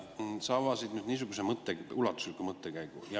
Toomas, sa avasid nüüd niisuguse ulatusliku mõttekäigu.